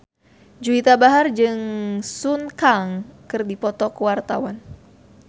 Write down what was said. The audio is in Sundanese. Juwita Bahar jeung Sun Kang keur dipoto ku wartawan